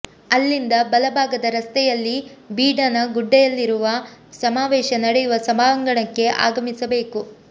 ಅಲ್ಲಿಂದ ಬಲ ಭಾಗದ ರಸ್ತೆಯಲ್ಲಿ ಬೀಡಿನಗುಡ್ಡೆಯಲ್ಲಿರುವ ಸಮಾವೇಶ ನಡೆಯುವ ಸಭಾಂಗಣಕ್ಕೆ ಆಗಮಿಸಬೇಕು